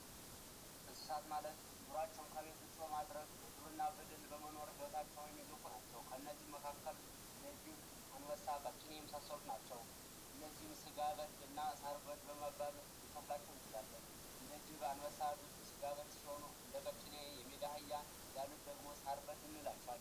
የዱር እንስሳት ማለት ኑሯቸውን ከቤት ውጪ በማድረግ በዱር እና በገደል ኑሯቸውን የሚገፉ ናቸው። ከእነዚህም መካከል ጅብ ፣አበሳ ፣ቀጭኔ የመሳሰሉት ናቸው። እነዚህን ሳር በል እና ስጋ በል በመባል ልንከፍላቸው እንችላለን። እንደ ጅብ አ፣ አንበሳ ያሉት ስጋ በል ሲሆኑ እንደ ቀጭኔ፣ የሜዳ አህያ ያሉት ደግሞ ሳር በል እንላቸዋለን።